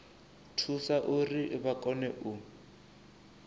thusa uri vha kone u